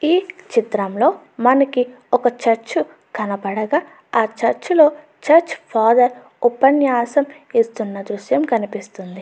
ఈ చిత్రంలో మనకి ఒక చర్చ్ కనపడగా ఆ చర్చ్ లోని చర్చ్ ఫాదర్ ఉపన్యాసం ఇస్తున్న దృశ్యం కనిపిస్తూ ఉంది.